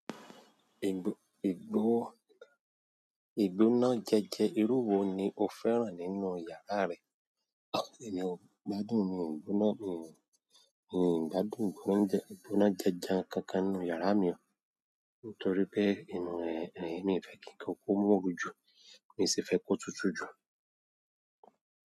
Igbó, igbó, igbóná jẹ́jẹ irú wo ni o fẹ́ràn nínú yàrá rẹ? Mi ò gbádùn ìgbóná, mi ò, mi ò gbádùn ìgbóná janjan kankan nínú yàrá mi o. Nítorí pé inú rẹ̀, rẹ̀ ní ìfẹ́ kí nǹkan kó mọ́ru ju, mi sì fẹ́ kó tútù ju.